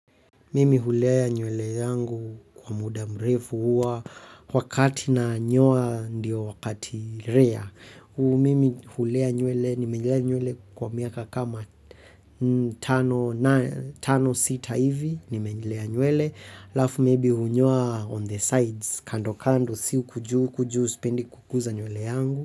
Mimi hulea nywele yangu kwa muda mrefu huwa wakati nanyoa ndiyo wakati rare. Mimi hulea nywele, nimelea nywele kwa miaka kama tano sita hivi, nimelea nywele. Halafu maybe hunyoa on the sides, kando kando, si huku juu huku juu sipendi kuguza nywele yangu.